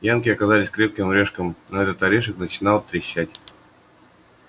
янки оказались крепким орешком но этот орешек начинал трещать